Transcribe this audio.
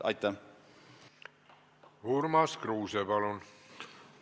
Urmas Kruuse, palun!